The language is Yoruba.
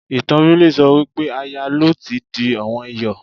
Ìtàn Bíbélì sọ wípé Aya Lọ́ọ̀tì di ọ̀wọ́n Iyọ̀.